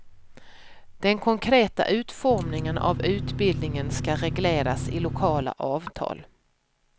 Den konkreta utformningen av utbildningen ska regleras i lokala avtal.